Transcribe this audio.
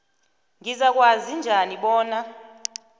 ngizakwazi njani bona